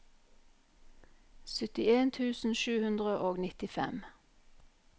syttien tusen sju hundre og nittifem